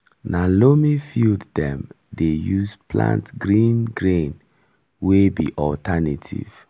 na loamy field dem dey use plant green grain wey be alternative.